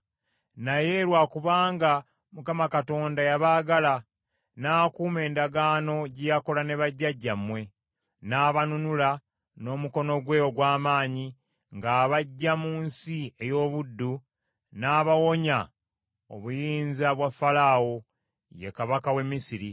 Naye lwa kubanga Mukama Katonda yabaagala, n’akuuma endagaano gye yakola ne bajjajjammwe, n’abanunula n’omukono gwe ogw’amaanyi ng’abaggya mu nsi ey’obuddu, n’abawonya obuyinza bwa Falaawo, ye kabaka w’e Misiri.